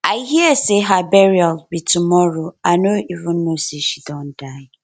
i hear say her burial be tomorrow i no even know say she don die